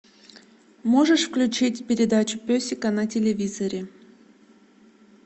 можешь включить передачу песика на телевизоре